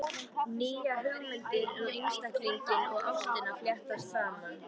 Nýjar hugmyndir um einstaklinginn og ástina fléttast saman.